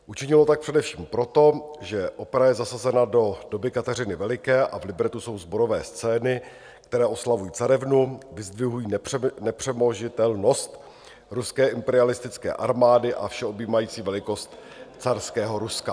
Učinilo tak především proto, že opera je zasazena do doby Kateřiny Veliké a v libretu jsou sborové scény, které oslavují carevnu, vyzdvihují nepřemožitelnost ruské imperialistické armády a všeobjímající velikost carského Ruska.